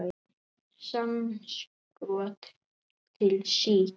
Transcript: Samskot til SÍK.